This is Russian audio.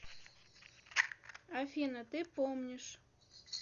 афина ты помнишь